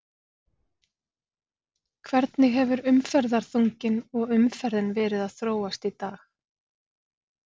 Hvernig hefur umferðarþunginn og umferðin verið að þróast í dag?